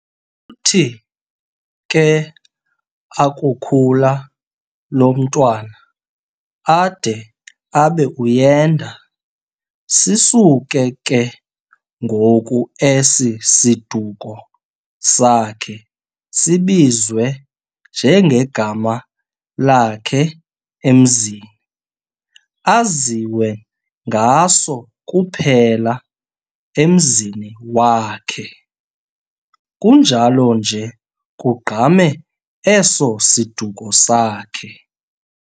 Uthi ke akukhula lo mntwana ade abe uyenda, sisuke ke ngoku esi siduko sakhe sibizwe nje ngegama lakhe emzini, aziwe ngaso kuphela emzini wakhe, kunjalo nje kugqame eso siduko sakhe.